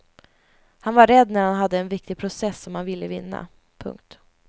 Han var rädd när han hade en viktig process som han ville vinna. punkt